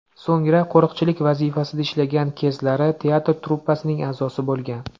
So‘ngra qo‘riqchilik vazifasida ishlagan kezlari teatr truppasining a’zosi bo‘lgan.